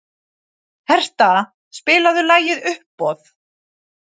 Hertha, spilaðu lagið „Uppboð“.